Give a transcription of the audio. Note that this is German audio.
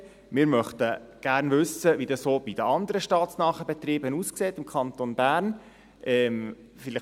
Wir möchten gern wissen, wie dies auch bei den anderen staatsnahen Betrieben im Kanton Bern aussieht.